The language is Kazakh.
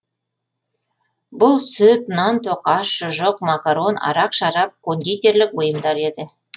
бұл сүт нан тоқаш шұжық макарон арақ шарап кондитерлік бұйымдар еді